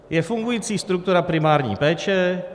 Je fungující struktura primární péče.